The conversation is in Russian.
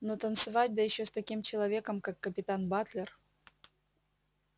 но танцевать да ещё с таким человеком как капитан батлер